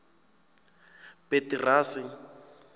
petirasi